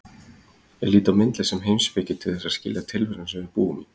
Ég lít á myndlist sem heimspeki til að skilja tilveruna sem við búum í.